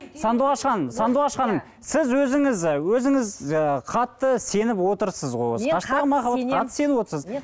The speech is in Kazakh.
сандуғаш ханым сандуғаш ханым сіз өзіңіз өзіңіз ы қатты сеніп отырсыз ғой қатты сеніп отырсыз